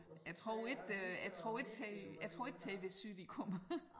Jeg tror ikke øh jeg tror ikke T jeg tror ikke tvSyd de kommer